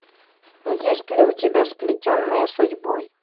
есть ли у тебя сплетенные судьбой